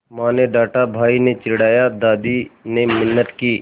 माँ ने डाँटा भाई ने चिढ़ाया दादी ने मिन्नत की